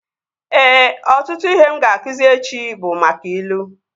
Ee, ọtụtụ ihe m ga-akụzi echi bụ maka ilu